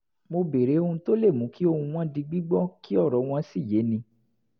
mo béèrè ohun tó le mú kí ohùn wọn di gbígbọ́ kí ọ̀rọ̀ wọn sì yéni